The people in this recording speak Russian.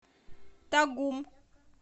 тагум